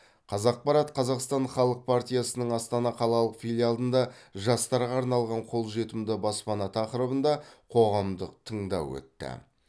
казақпарат қазақстан халық партиясының астана қалалық филиалында жастарға арналған қолжетімді баспана тақырыбында қоғамдық тыңдау өтті